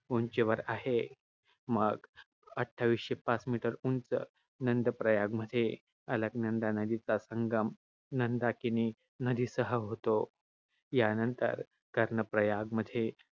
उंचीवर आहे. मग अट्ठावीसशे पाच meter उंच नंदप्रयागमध्ये अलकनंदा नदीचा संगम नंदाकिनी नदीसह होतो. यानंतर, कर्णप्रयागमध्ये,